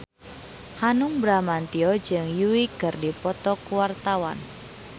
Hanung Bramantyo jeung Yui keur dipoto ku wartawan